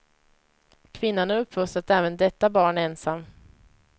Kvinnan har uppfostrat även detta barn ensam.